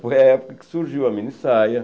Foi a época que surgiu a minissaia.